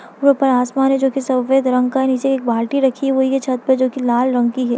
ऊपर आसमान है जो कि सफ़ेद रंग का है नीचे बाल्टी रखी हुई है छत पे जो कि लाल रंग की है।